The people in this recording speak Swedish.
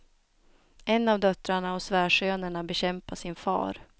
En av döttrarna och svärsönerna bekämpar sin far.